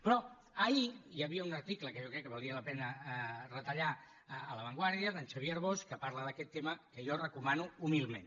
però ahir hi havia un article que jo crec que valia la pena retallar a la vanguardia xavier arbós que parla d’aquest tema que jo recomano humilment